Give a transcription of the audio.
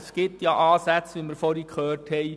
Es gibt Ansätze, wie wir zuvor gehört haben.